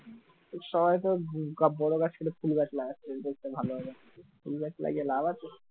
সবাই তো বড় গাছ বলে ছোট গাছ লাগাইছে সুন্দর দেখার জন্য ফুল গাছ লাগিয়ে কোন লাভ আছে